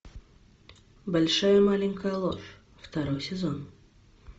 большая маленькая ложь второй сезон